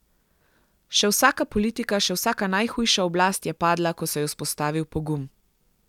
Še vsaka politika, še vsaka najhujša oblast je padla, ko se je vzpostavil pogum.